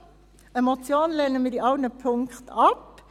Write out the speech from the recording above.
Eine Motion lehnen wir in allen Punkten ab.